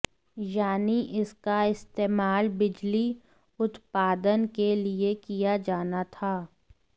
यानी इसका इस्तेमाल बिजली उत्पादन के लिए किया जाना था